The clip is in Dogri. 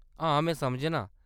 हां, में समझनां ।